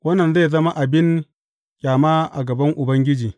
Wannan zai zama abin ƙyama a gaban Ubangiji.